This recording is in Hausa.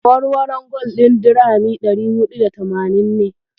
Awarwaron gwal ɗin dirhami ɗari huɗu da tamanin ne.